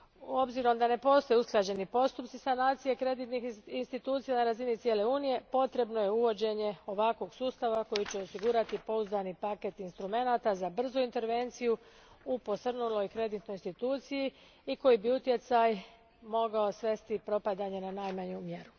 S obzirom da ne postoje usklađeni postupci sanacije kreditnih institucija na razini cijele Unije, potrebno je uvođenje ovakvog sustava koji će osigurati pouzdani paket instrumenata za brzu intervenciju u posrnuloj kreditnoj instituciji i koji bi utjecaj propadanja mogao svesti na najmanju mjeru.